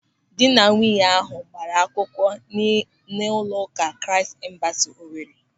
Ndịnanwunye ahụ gbaara akwụkwọ n'ụlọụka Kraịst Embasị Owere.